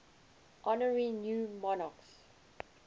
honouring new monarchs